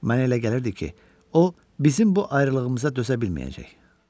Mənə elə gəlirdi ki, o bizim bu ayrılığımıza dözə bilməyəcək.